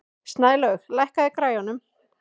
Snælaug, lækkaðu í græjunum.